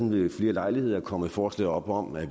ved flere lejligheder er kommet forslag op om at